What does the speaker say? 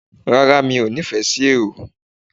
Rara mí o nifesí eró